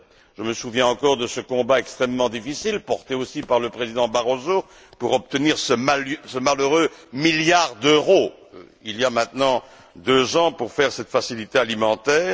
Je me souviens encore de ce combat extrêmement difficile, porté aussi par le président Barroso, pour obtenir ce malheureux milliard d'euros, il y a maintenant deux ans, pour réaliser cette facilité alimentaire.